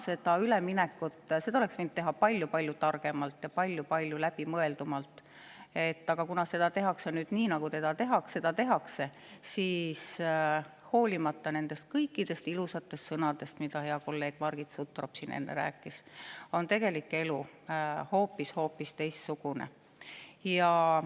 Seda üleminekut oleks saanud teha palju-palju targemalt ja palju-palju läbimõeldumalt, aga kuna seda tehakse nii, nagu seda tehakse, siis hoolimata nendest kõikidest ilusatest sõnadest, mida hea kolleeg Margit Sutrop siin enne rääkis, on tegelik elu hoopis-hoopis teistsugune.